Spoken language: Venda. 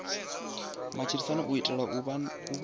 matshilisano u itela u vha